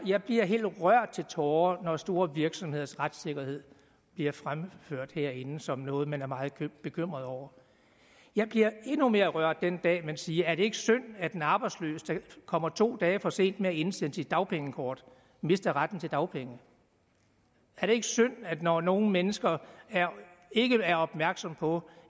jeg bliver helt rørt til tårer når store virksomheders retssikkerhed bliver fremført herinde som noget man er meget bekymret over jeg bliver endnu mere rørt den dag man siger er det ikke synd at en arbejdsløs der kommer to dage for sent med at indsende sit dagpengekort mister retten til dagpenge er det ikke synd når nogle mennesker ikke er opmærksomme på